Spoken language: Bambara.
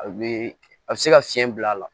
A be a be se ka fiɲɛ bil'a la